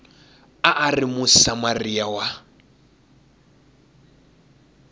a a ri musamariya wa